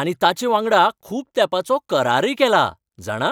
आनी तांचेवांगडा खूब तेंपाचो करारय केला, जाणा!